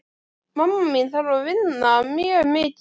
Mamma mín þarf að vinna mjög mikið.